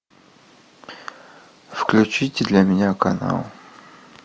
включите для меня канал